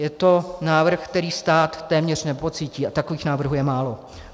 Je to návrh, který stát téměř nepocítí, a takových návrhů je málo.